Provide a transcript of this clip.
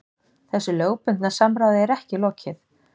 Þessu lögbundna samráði er ekki lokið